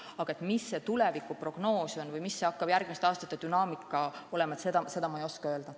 Aga milline võiks olla tulevikuprognoos või milline hakkab olema järgmiste aastate dünaamika, seda ma ei oska öelda.